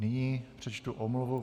Nyní přečtu omluvu.